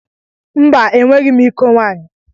Mba, enweghị m iko nwaanyị.